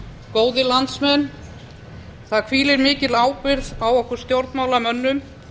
góðir landsmenn það hvílir mikil ábyrgð á okkur stjórnmálamönnum